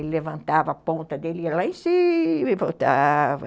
Ele levantava a ponta dele, ia lá em cima e voltava.